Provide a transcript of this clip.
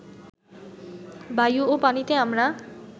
বায়ু ও পানিতে আমরা